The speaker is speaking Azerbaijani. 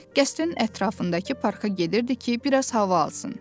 qəsrin ətrafındakı parka gedirdi ki, biraz hava alsın.